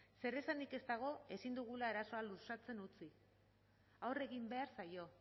zeresanik ez dago ezin dugula arazoa luzatzen utzi aurre egin behar zaio